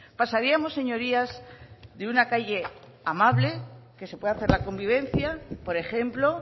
pasaríamos señorías de una calle amable que se puede hacer la convivencia por ejemplo